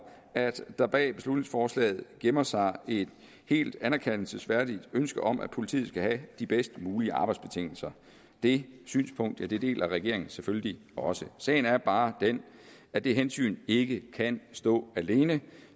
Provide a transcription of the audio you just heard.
at der bag beslutningsforslaget gemmer sig et helt anerkendelsesværdigt ønske om at politiet skal have de bedst mulige arbejdsbetingelser det synspunkt deler regeringen selvfølgelig også sagen er bare den at det hensyn ikke kan stå alene